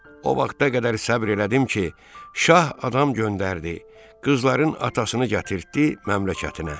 O vaxta qədər səbr elədim ki, şah adam göndərdi, qızların atasını gətirtdi məmləkətinə.